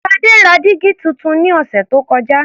Ṣadé ra dígí tuntun ní ọ̀sẹ̀ tó kọjá.